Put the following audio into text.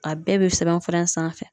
A bɛɛ be sɛbɛnfura in sanfɛ